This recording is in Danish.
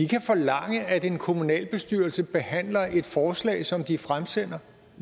kan forlange at en kommunalbestyrelse behandler et forslag som de fremsender